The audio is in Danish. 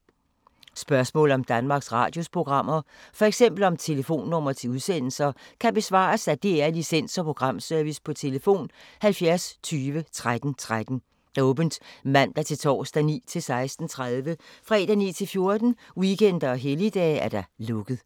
Spørgsmål om Danmarks Radios programmer, f.eks. om telefonnumre til udsendelser, kan besvares af DR Licens- og Programservice: tlf. 70 20 13 13, åbent mandag-torsdag 9.00-16.30, fredag 9.00-14.00, weekender og helligdage: lukket.